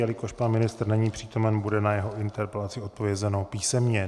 Jelikož pan ministr není přítomen, bude na vaši interpelaci odpovězeno písemně.